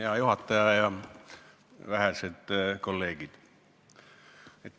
Hea juhataja ja vähesed kolleegid!